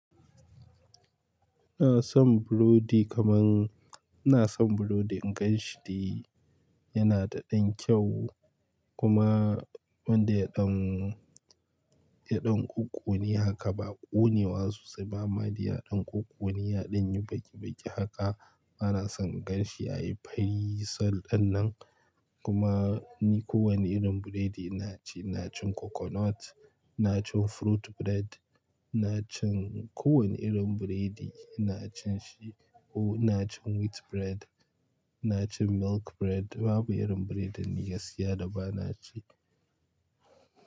Ina son burodi kamun, ina son burodi in ganshi de yana da ɗan kyau, kuma wanda ya ɗan, ya ɗan ƙuƙuni haka ba ƙunewa sosai ba ma dai ya ɗan ƙuƙuni, ya ɗan yi baki baki haka, bana son in ganshi yayi fari, sol dannan. Kuma, ni kowane irin burodi ina ci, ina cin coconut, ina cin fruit bread, ina cin kowane irin burodi ina cin shi. Oh ina cin wheat bread, ina cin milk bread babu irin burodin ni siya da bana ci.